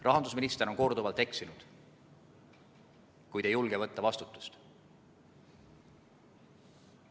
Rahandusminister on korduvalt eksinud, kuid ei julge võtta vastutust.